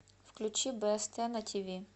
включи бст на тв